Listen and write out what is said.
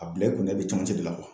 A bila i kunna i bɛ camancɛ de la